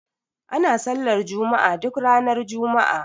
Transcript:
Ana sallar juma'a duk ranar juma'a.